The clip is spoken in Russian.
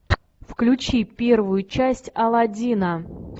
включи первую часть аладдина